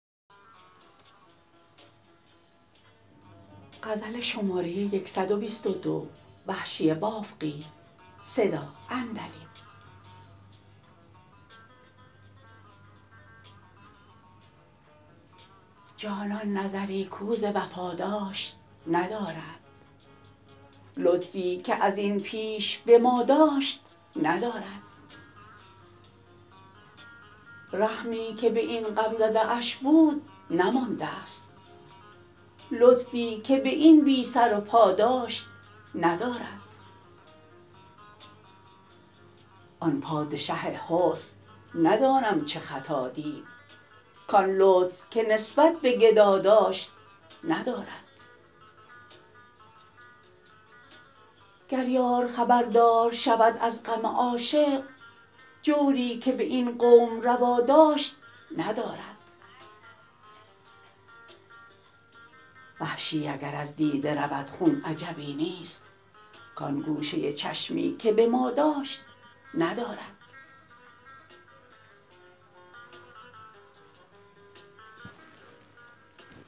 جانان نظری کو ز وفا داشت ندارد لطفی که از این پیش به ما داشت ندارد رحمی که به این غمزده اش بود نماندست لطفی که به این بی سرو پا داشت ندارد آن پادشه حسن ندانم چه خطا دید کان لطف که نسبت به گدا داشت ندارد گر یار خبردار شود از غم عاشق جوری که به این قوم روا داشت ندارد وحشی اگر از دیده رود خون عجبی نیست کان گوشه چشمی که به ما داشت ندارد